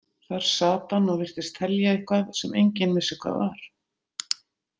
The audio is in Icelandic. Þar sat hann og virtist telja eitthvað, sem enginn vissi hvað var.